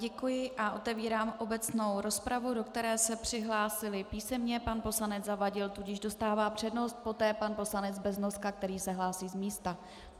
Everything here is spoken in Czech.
Děkuji a otevírám obecnou rozpravu, do které se přihlásili písemně pan poslanec Zavadil, tudíž dostává přednost, poté pan poslanec Beznoska, který se hlásí z místa.